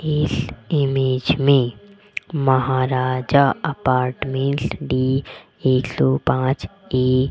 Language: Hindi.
इस इमेज में महाराजा अपार्टमेंट डी एक सौ पांच ए --